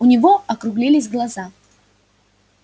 у него округлились глаза